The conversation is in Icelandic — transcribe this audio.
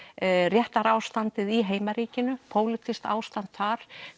réttarástandið í heimaríkinu pólitískt ástand þar